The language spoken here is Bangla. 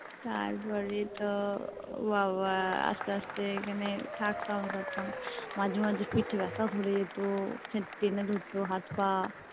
তারপরে তো বাবা আস্তে আস্তে এখানে থাকতাম ই করতাম মাঝে মাঝে পিঠে বেথা ধরে যেত টেনে ধরতো হাত পা